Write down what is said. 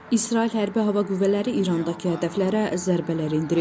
İsrail Hərbi Hava Qüvvələri İrandakı hədəflərə zərbələr endirib.